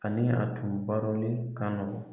Ani a tun barolen ka nɔgɔn